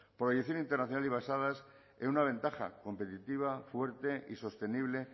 proyección internacional y basadas en una ventaja competitiva fuerte y sostenible